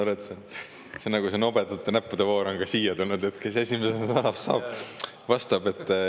Ma saan aru, et see nobedate näppude voor on ka siia tulnud, et kes esimesena pihta saab, see vastab.